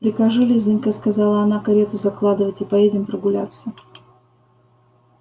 прикажи лизанька сказала она карету закладывать и поедем прогуляться